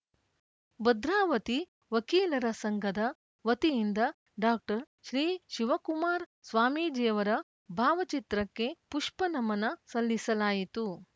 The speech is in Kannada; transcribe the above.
ಭದ್ರಾವತಿ ವಕೀಲರ ಸಂಘದ ವತಿಯಿಂದ ಡಾಕ್ಟರ್ ಶ್ರೀ ಶಿವಕುಮಾರ್ ಸ್ವಾಮೀಜಿಯವರ ಭಾವಚಿತ್ರಕ್ಕೆ ಪುಷ್ಪನಮನ ಸಲ್ಲಿಸಲಾಯಿತು